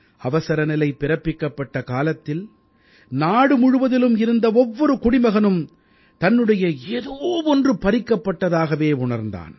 அவசரநிலை பிறப்பிக்கப்பட்ட காலத்தில் நாடு முழுவதிலும் இருந்த ஒவ்வொரு குடிமகனும் தன்னுடைய ஏதோ ஒன்று பறிக்கப்பட்டதாகவே உணர்ந்தான்